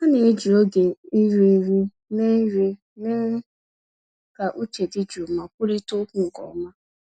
Ha na-eji oge iri nri mee nri mee ka uche dị jụụ ma kwurịta okwu nke ọma.